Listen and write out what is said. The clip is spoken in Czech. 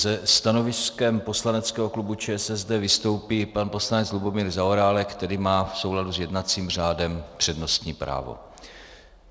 Se stanoviskem poslaneckého klubu ČSSD vystoupí pan poslanec Lubomír Zaorálek, který má v souladu s jednacím řádem přednostní právo.